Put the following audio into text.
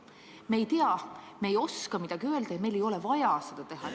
Me ei tea midagi, me ei oska midagi öelda ja meil ei ole vaja seda teha.